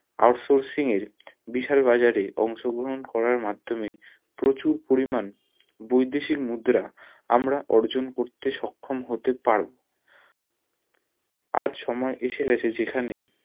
outsoursing এর বিশাল বাজারে অংশগ্রহণ করার মাধ্যমে প্রচুর পরিমান বৈদেশিক মুদ্রা আমরাঅর্জন করতে সক্ষম হতে পারবো আজ সময় এসে গিয়েছে যেখানে